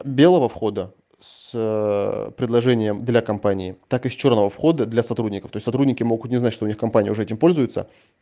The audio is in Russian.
белого входа с предложением для компании так и с чёрного входа для сотрудников и сотрудники могут не знать что у них компании уже этим пользуется